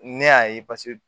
Ne y'a ye